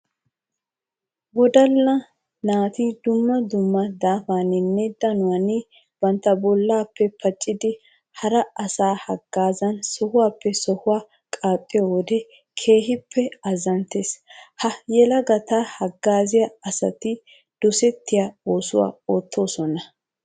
Wodalla naati dumma dumma daafaninne danuwanni bantta bollappe pacciddi hara asaa hagazan sohuwappe sohuwaa qaaxxiyodde keehippe azanttes. Ha yelagatta hagazziya asatti dosettiya oosuwa ootosona.